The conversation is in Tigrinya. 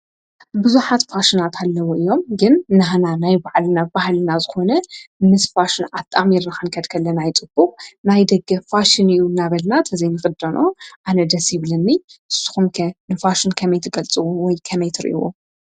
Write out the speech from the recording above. ብዙኃት ፋሽናት ኣለዉ እዮም ግን ንህና ናይ ባዕልናብ ባሃልና ዝኾነ ምስ ፋሽን ኣጥኣሚ ርኻንከድከለና ይጥቡቕ ናይ ደገ ፋሽን እዩ እናበልናተዘይምኽዶኖ ኣነ ደሲይብልኒ ስኹምከ ንፋሽን ከመይትገልጽወይ ከመይትርይዎ።